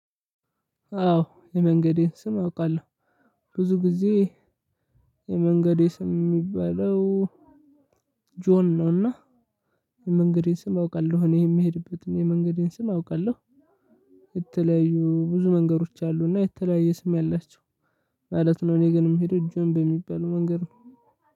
አዎ የመንገዴን ስም አውቃለሁ። ብዙ ጊዜ የመንገዴ ስም የሚባለው ጆን ነውና። የመንገዴን ስም አውቃለሁ እኔ የምሄድበትን የመንገዴን ስም አውቃለሁ። የተለያዩ ብዙ መንገዶች አሉና የተለያየ ስም ያላቸው ማለት ነው። እኔ ግን የምሄደው ጆን በሚባል መንገድ ነው።